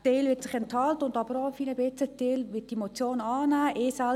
Ein Teil wird sich enthalten, und ein Teil wird die Motion annehmen – ich selber auch.